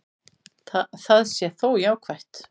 Það sé þó jákvætt.